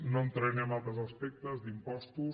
no entraré en altres aspectes d’impostos